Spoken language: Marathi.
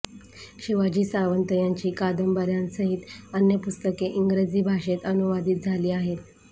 शिवाजी सावंत यांची कादंबर्यांसहित अन्य पुस्तके इंग्रजी भाषेत अनुवादित झाली आहेत